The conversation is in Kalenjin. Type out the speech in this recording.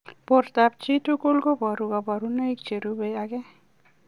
Portoop chitoo kobaruu kabarunaik cherubei ak